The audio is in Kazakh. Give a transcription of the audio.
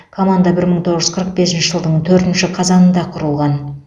команда бір мың тоғыз жүз қырық бесінші жылдың төртінші қазанында құрылған